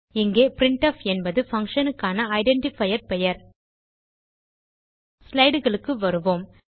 இங்கே பிரின்ட்ஃப் என்பது பங்ஷன் க்கான ஐடென்டிஃபையர் பெயர் slideகளுக்கு வருவோம்